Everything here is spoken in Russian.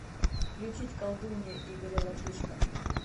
включить колдунья игоря латышко